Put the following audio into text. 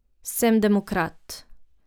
Sem demokrat.